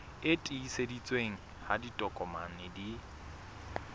e tiiseditsweng ha ditokomane di